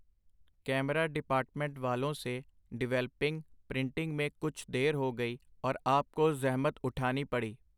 Camera department ਵਾਲੋਂ ਸੇ developing, printing ਮੇਂ ਕੁਛ ਦੇਰ ਹੋ ਗਈ, ਔਰ ਆਪ ਕੋ ਜ਼ਹਿਮਤ ਉਠਾਨੀ ਪੜੀ.